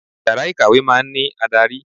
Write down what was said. Yàrá ìkàwé máa ń ní adarí.